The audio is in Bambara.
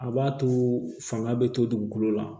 A b'a to fanga bɛ to dugukolo la